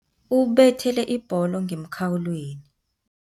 Ubethele ibholo ngemkhawulweni.